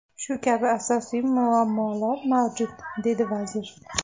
Shu kabi asosiy muammolar mavjud”, dedi vazir.